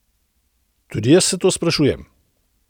Tudi jaz se to sprašujem.